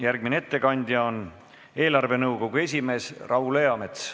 Järgmine ettekandja on eelarvenõukogu esimees Raul Eamets.